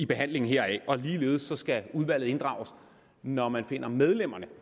behandlingen heraf ligeledes skal udvalget inddrages når man finder medlemmerne